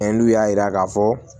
N'u y'a yira k'a fɔ